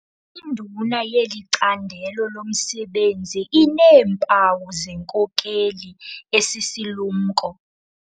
Induna yeli candelo lomsebenzi ineempawu zenkokeli esisilumko.